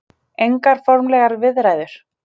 Engar formlegar viðræður.